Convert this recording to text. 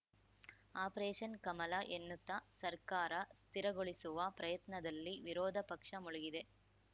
operation Kamala ಎನ್ನುತ್ತ ಸರ್ಕಾರ ಸ್ಥಿರಗೊಳಿಸುವ ಪ್ರಯತ್ನದಲ್ಲಿ ವಿರೋಧ ಪಕ್ಷ ಮುಳುಗಿದೆ